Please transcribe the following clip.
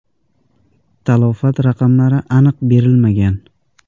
Talafot raqamlari aniq berilmagan.